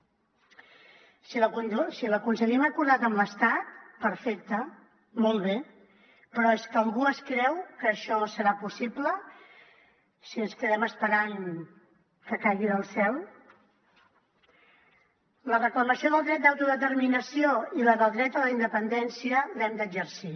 si l’aconseguim acordat amb l’estat perfecte molt bé però és que algú es creu que això serà possible si ens quedem esperant que caigui del cel la reclamació del dret d’autodeterminació i la del dret a la independència les hem d’exercir